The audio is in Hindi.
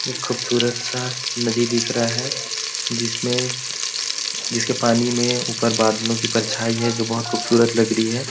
एक खूबसूरत सा नदी दिख रहा है जिसमें जिसके पानी में ऊपर बादलों की परछाई है जो बहुत खूबसूरत लग रही है।